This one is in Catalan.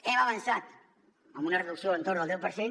hem avançat amb una reducció entorn del deu per cent